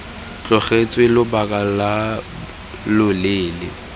tlogetswe lobaka lo lo leele